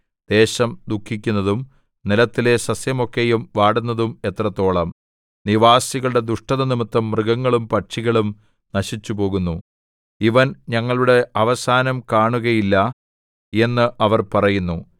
ദേശം ദുഃഖിക്കുന്നതും നിലത്തിലെ സസ്യമൊക്കെയും വാടുന്നതും എത്രത്തോളം നിവാസികളുടെ ദുഷ്ടതനിമിത്തം മൃഗങ്ങളും പക്ഷികളും നശിച്ചുപോകുന്നു ഇവൻ ഞങ്ങളുടെ അവസാനം കാണുകയില്ല എന്ന് അവർ പറയുന്നു